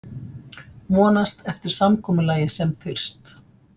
Vonast eftir samkomulagi sem fyrst